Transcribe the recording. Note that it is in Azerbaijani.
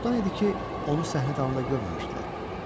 Çoxdan idi ki, onu səhnə dalında görməmişdilər.